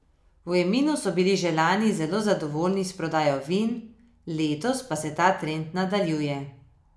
V Eminu so bili že lani zelo zadovoljni s prodajo vin, letos pa se ta trend nadaljuje.